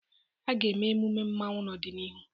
A ga-eme emume mmanwu n'ọdịnihu.